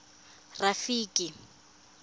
rafiki